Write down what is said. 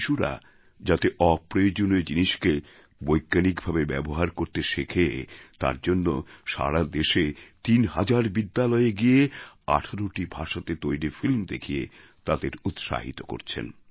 শিশুরা যাতে অপ্রয়োজনীয় জিনিসকে বৈজ্ঞানিক ভাবে ব্যবহার করতে শেখে তার জন্য সারা দেশে তিন হাজার বিদ্যালয়ে গিয়ে ১৮টি ভাষাতে তৈরি ফিল্ম দেখিয়ে তাদের উৎসাহিত করছেন